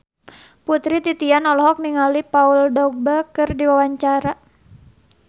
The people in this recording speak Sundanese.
Putri Titian olohok ningali Paul Dogba keur diwawancara